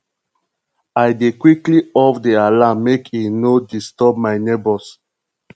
i dey quickly off di alarm make e no disturb my nebors